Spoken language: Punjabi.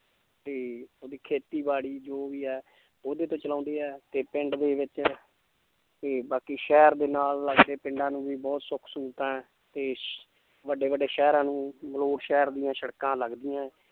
ਤੇ ਉਹਦੀ ਖੇਤੀਬਾੜੀ ਜੋ ਵੀ ਹੈ ਉਹਦੇ ਤੋਂ ਚਲਾਉਂਦੇ ਹੈ ਤੇ ਪਿੰਡ ਦੇ ਵਿੱਚ ਤੇ ਬਾਕੀ ਸ਼ਹਿਰ ਦੇ ਨਾਲ ਲੱਗਦੇ ਪਿੰਡਾਂ ਨੂੰ ਵੀ ਬਹੁਤ ਸੁੱਖ ਸਹੂਲਤਾਂ ਹੈ ਤੇ ਵੱਡੇ ਵੱਡੇ ਸ਼ਹਿਰਾਂ ਨੂੰ ਮਲੌਟ ਸ਼ਹਿਰ ਦੀਆਂ ਸੜਕਾਂ ਲੱਗਦੀਆਂ ਹੈ l